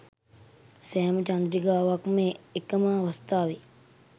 සෑම චන්ද්‍රිකාවක්ම එකම අවස්ථාවේ